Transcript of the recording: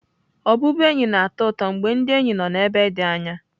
Ọbụbụenyi na-atọ ụtọ mgbe ndị enyi nọ n'ebe dị anya.